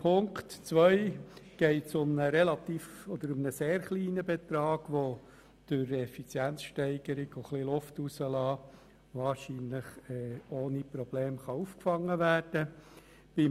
Zu Ziffer 2: Hier geht es um einen sehr kleinen Betrag, der durch Effizienzsteigerung und «Luftablassen» wahrscheinlich ohne Probleme aufgefangen werden kann.